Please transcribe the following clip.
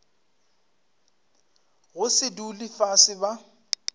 go se dule fase ba